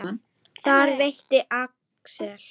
Þar veitti Axel